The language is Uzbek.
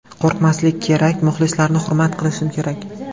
Qo‘rqmaslik kerak, muxlislarni hurmat qilish kerak.